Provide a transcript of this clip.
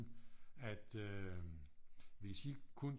At øh hvis I kun